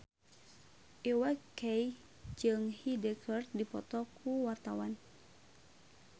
Iwa K jeung Hyde keur dipoto ku wartawan